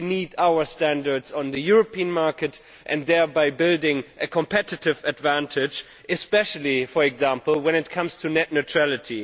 We need our standards on the European market, thereby building a competitive advantage, especially, for example, when it comes to net neutrality.